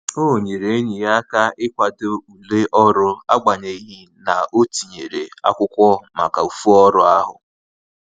O nyere enyi ya aka ikwado ule ọrụ agbanyeghi na-o tinyere akwụkwọ maka ofu ọrụ ahu